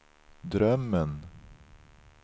drömmen